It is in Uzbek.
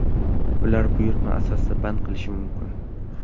Ular buyurtma asosida band qilishi mumkin.